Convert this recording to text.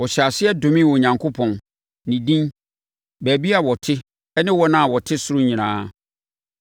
Ɔhyɛɛ aseɛ domee Onyankopɔn, ne din, baabi a ɔte ne wɔn a wɔte ɔsoro nyinaa.